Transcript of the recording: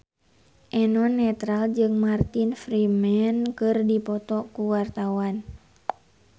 Eno Netral jeung Martin Freeman keur dipoto ku wartawan